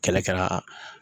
Kɛlɛ kɛra